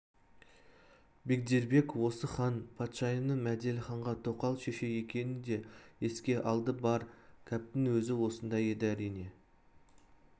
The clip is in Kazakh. бегдербек осы хан патшайымның мәделіханға тоқал шеше екенін де еске алды бар кәптің өзі осында еді әрине